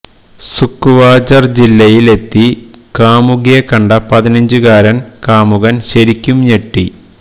സുക്കുവാജര് ജില്ലയില് എത്തി കാമുകിയെ കണ്ട പതിനഞ്ചുകാരന് കാമുകന് ശരിക്കും ഞെട്ടി